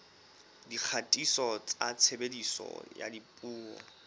dikgatiso tsa tshebediso ya dipuo